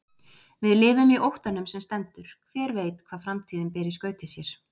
Við lifum í óttanum sem stendur, hver veit hvað framtíðin ber í skauti sér?